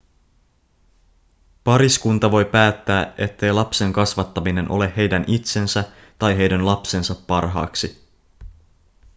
pariskunta voi päättää ettei lapsen kasvattaminen ole heidän itsensä tai heidän lapsensa parhaaksi